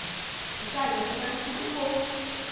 Falei, ah, então você conhece meu vô.